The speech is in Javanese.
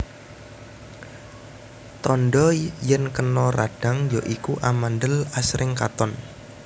Tandha yèn kena radhang ya iku amandhel asring katon